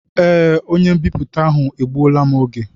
Ee, onye m'biputa ahụ egbuola m oge.